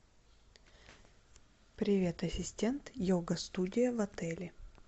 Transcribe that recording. привет ассистент йога студия в отеле